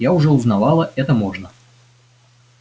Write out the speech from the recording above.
я уже узнавала это можно